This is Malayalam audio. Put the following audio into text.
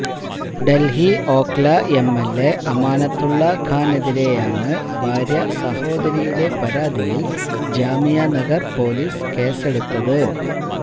ദല്ഹി ഓഖ്ല എംഎല്എ അമാനത്തുള്ള ഖാനെതിരെയാണ് ഭാര്യാസഹോദരിയുടെ പരാതിയില് ജാമിയാനഗര് പോലീസ് കേസെടുത്തത്